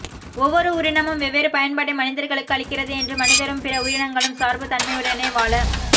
ஒவ்வொரு உயிரினமும் வெவ்வேறு பயன்பாட்டை மனிதர்களுக்கு அளிக்கிறது என்றும் மனிதரும் பிற உயிரினங்களும் சார்பு தன்மையுடனேயே வாழ